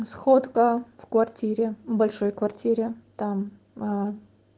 сходка в квартире большой квартире там